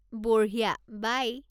বঢ়িয়া, বাই।